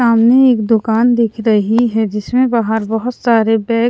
सामने एक दुकान दिख रही है जिसमें बाहर बहुत सारे बैग --